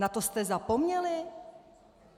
Na to jste zapomněli?